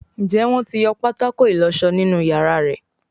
Njé Wón tí yọ pátákó ìlósó nínú iyàrá rẹ?